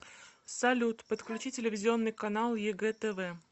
салют подключи телевизионный канал егэ тв